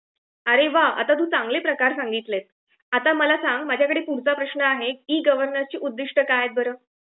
अरे वा आता तू चांगले प्रकार सांगितले, आता मला सांग पुढचा प्रश्न आहे ई -गवर्नन्सची उद्दिष्ट्ये काय आहे बर ?